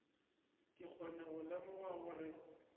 ke kgone go lemoga gore